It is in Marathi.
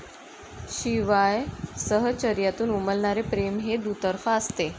शिवाय सहचर्यातून उमलणारे प्रेम हे दुतर्फा असते.